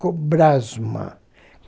Cobrasma.